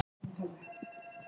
Það var mitt orðalag.